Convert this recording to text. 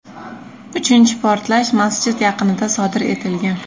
Uchinchi portlash masjid yaqinida sodir etilgan.